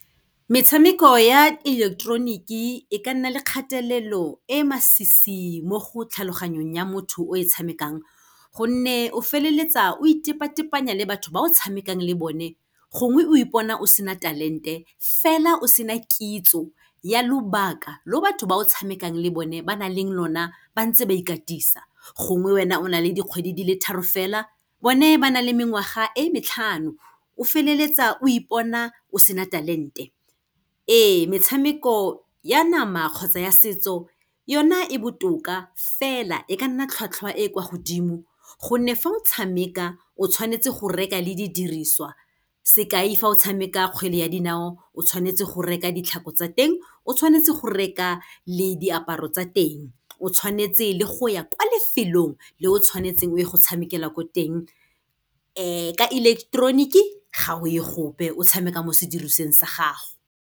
Metshameko ya electronic-e, e ka nna le kgatelelo e masisi mo go tlhaloganyong ya motho o e tshamekang, gonne o feleletsa o itepatepanya le batho ba o tshamekang le bone, gongwe o ipona o sena talent-e fela o sena kitso ya lobaka lo batho ba o tshamekang le bone ba nang le lona ba ntse ba ikatisa. Gongwe wena o na le dikgwedi di le tharo fela bone ba na le mengwaga e matlhano, o feleletsa o ipona o sena talent-e. Ee, metshameko ya nama kgotsa ya setso, yona e botoka fela e ka nna tlhwatlhwa e kwa godimo gonne fa o tshameka o tshwanetse go reka le di diriswa, sekai fa o tshameka kgwele ya dinao, o tshwanetse go reka ditlhako tsa teng, o tshwanetse go reka le diaparo tsa teng, o tshwanetse le go ya kwa lefelong le o tshwanetseng o ye go tshamekela ko teng. ka electronic-e, ga o ye gope, o tshameka mo sedirisiweng sa gago.